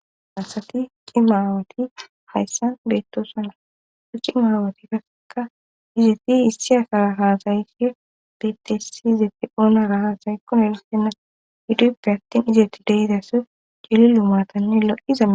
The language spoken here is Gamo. asati cima awati hayssan beettosana ci maawati kaseka izeti issiyasaahaasayfi petesi zete oona rahasaykko n erissena hiduppe hattin izetti deidase cili lumaatanne lo7izaa